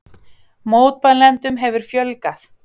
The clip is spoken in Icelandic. Mótmælendum hefur fjölgað